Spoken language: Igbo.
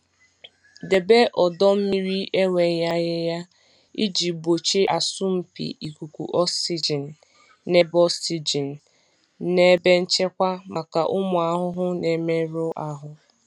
Debe ọdọ mmiri enweghị ahịhịa iji gbochie asọmpi ikuku oxygen na ebe oxygen na ebe nchekwa maka ụmụ ahụhụ na-emerụ ahụ.